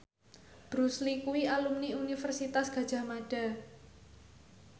Bruce Lee kuwi alumni Universitas Gadjah Mada